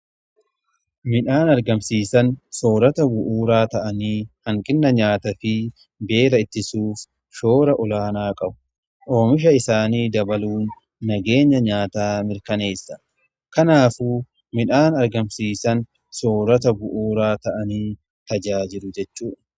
Midhaan argamsiisan soorata bu'uuraa ta'anii hanqina nyaata fi beela ittisuuf shoora olaanaa qabu. Oomisha isaanii dabaluun nageenya nyaataa mirkaneessa. Kanaafu midhaan argamsiisan soorata bu'uuraa ta'anii tajaajilu jechuudha.